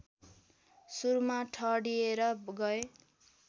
सुरुमा ठडिएर गए